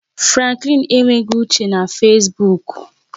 Franklin enweghị uche na Fesbuk